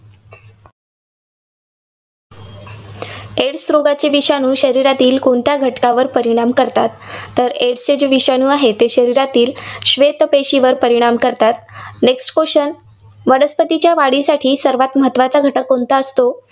AIDS रोगाच्या विषाणू शरीरातील कोणत्या घटकावर परिणाम करतात? तर AIDS जे विषाणू आहेत, शरीरातील श्वेत पेशींवर परिणाम करतात. Next question वनस्पतींच्या वाढीसाठी सर्वांत महत्त्वाचा घटक कोणता असतो?